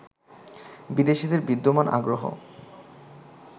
বিদেশিদের বিদ্যমান আগ্রহ